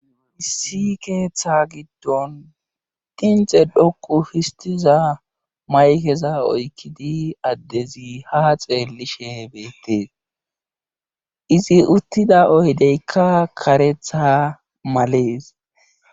issi keeththa giddon dinxe dhokku histiza maykeza oykkidi addezi ha xeellishe ebeettees izi uttida oydeykka karetha malees